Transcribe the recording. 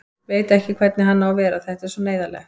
Veit ekki hvernig hann á að vera, þetta er svo neyðarlegt.